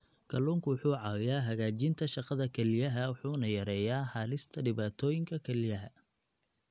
Kalluunku wuxuu caawiyaa hagaajinta shaqada kelyaha wuxuuna yareeyaa halista dhibaatooyinka kelyaha.